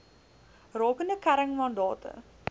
rakende kern mandate